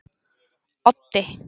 Oddi